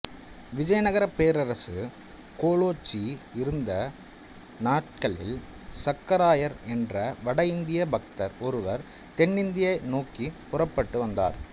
விஜயநகரப் பேரரசு கோலோச்சி இருந்த நாட்களில் சக்கராயர் என்ற வட இந்திய பக்தர் ஒருவர் தென்னிந்தியா நோக்கிப் புறப்பட்டு வந்தார்